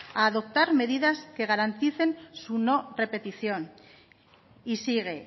a adoptar medidas que garanticen su no repetición y sigue